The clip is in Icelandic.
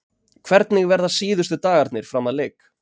Hvernig verða síðustu dagarnir fram að leik?